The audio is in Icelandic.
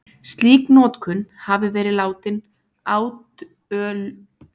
Slík notkun hafi verið látin átölulaus